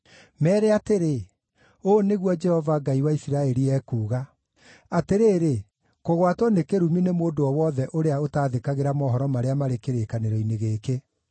Meere atĩrĩ, ũũ nĩguo Jehova, Ngai wa Isiraeli ekuuga: ‘Atĩrĩrĩ, kũgwatwo nĩ kĩrumi, nĩ mũndũ o wothe ũrĩa ũtaathĩkagĩra mohoro marĩa marĩ kĩrĩkanĩro-inĩ gĩkĩ;